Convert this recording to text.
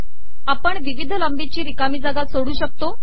आपण िविवध लाबीची िरकामी जागा सोडू शकतो